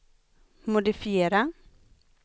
modifiera